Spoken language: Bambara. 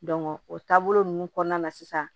o taabolo ninnu kɔnɔna na sisan